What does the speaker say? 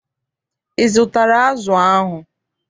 Ị zụtara azụ ahụ?